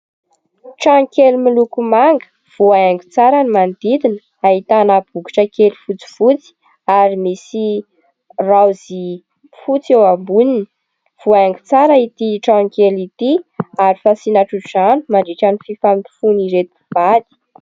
Trano kely miloko manga, voahaingo tsara ny manodidina, ahitana bokotra kely fotsifotsy, ary misy raozy fotsy eo amboniny. Voahaingo tsara ity trano kely ity, ary fasiana tso-drano mandritran'ny fifamofoan'ireto mpivady.